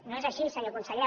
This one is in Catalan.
no és així senyor conseller